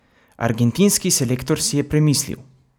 Argentinski selektor si je premislil!